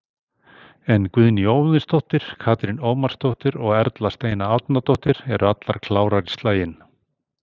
En Guðný Óðinsdóttir, Katrín Ómarsdóttir og Erla Steina Árnadóttir eru allar klárar í slaginn.